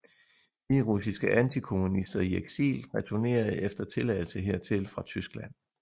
Hviderussiske antikommunister i eksil returnerede efter tilladelse hertil fra Tyskland